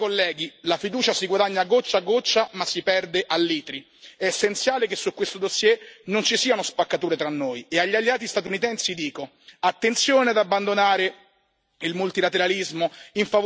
È essenziale che su questo dossier non ci siano spaccature tra noi, e agli alleati statunitensi dico attenzione ad abbandonare il multilateralismo in favore di confronti bilaterali, può essere un'arma a doppio taglio anche per voi.